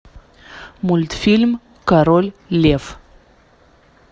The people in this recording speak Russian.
мультфильм король лев